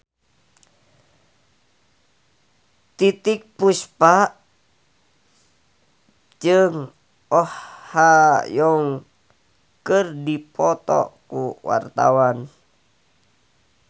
Titiek Puspa jeung Oh Ha Young keur dipoto ku wartawan